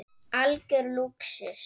Algjör lúxus.